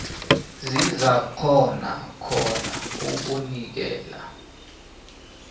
sizakghona khona ukunikela